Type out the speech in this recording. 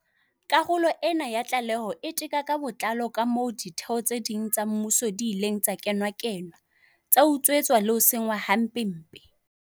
Karolo ena ya tlaleho e teka ka botlalo kamoo ditheo tse ding tsa mmuso di ileng tsa kenakenwa, tsa utswetswa le ho senngwa hampempe.